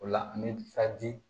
O la an bɛ